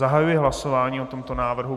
Zahajuji hlasování o tomto návrhu.